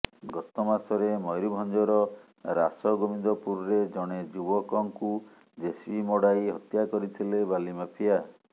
ଗତ ମାସରେ ମୟୂରଭଂଜର ରାସଗୋବିନ୍ଦପୁରରେ ଜଣେ ଯୁବକଙ୍କୁ ଜେସିବି ମଡାଇ ହତ୍ୟା କରିଥିଲେ ବାଲି ମାଫିଆ